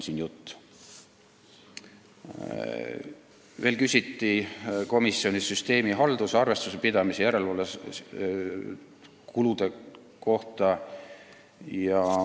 Komisjonis küsiti veel süsteemihalduse, arvestuse pidamise ja järelevalvekulude kohta.